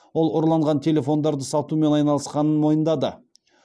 ол ұрланған телефондарды сатумен айналысқанын мойындады